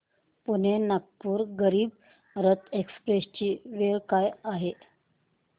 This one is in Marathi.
पुणे नागपूर गरीब रथ एक्स्प्रेस ची वेळ काय आहे